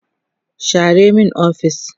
share min ofis!